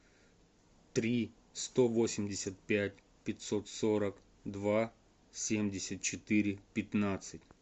три сто восемьдесят пять пятьсот сорок два семьдесят четыре пятнадцать